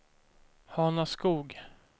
Hanaskog